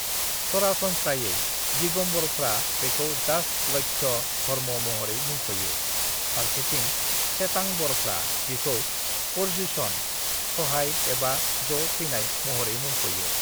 """सरासनस्रायै, दिगंबरफ्रा बिखौ दास लक्ष्य धर्म महरै मुंख'यो फारसेथिं श्वेतांबरफ्रा बिखौ पर्युषण (""""स'हाय"""" एबा """"ज' फैनाय"""") महरै मुंख'यो"""